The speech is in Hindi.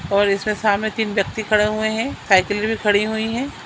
और इसमें सामने तीन व्यक्ति खड़े हुए हैं साइकिल भी खड़ी हुई है ।